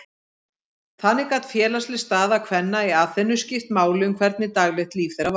Þannig gat félagsleg staða kvenna í Aþenu skipt máli um hvernig daglegt líf þeirra var.